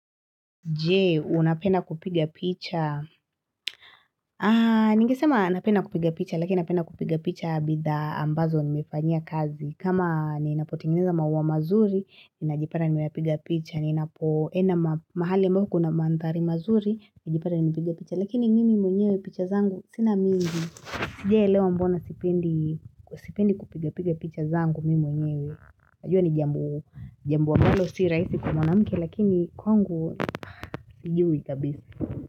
Je unapenda kupiga picha? Ningesema napenda kupiga picha, lakini napenda kupiga picha bidhaa ambazo nimefanyia kazi. Kama ninapotengeneza maua mazuri, ninajipata nimepiga picha. Ninapoenda mahali ambapo kuna mandhari mazuri, najipata nimepiga picha. Lakini mimi mwenyewe picha zangu, sina mingi. Sijawahi elewa mbona sipendi kupiga picha zangu mimi mwenyewe. Hio ni jambo ambalo si rahisi kwa mwanamke lakini kwangu sijui kabisa.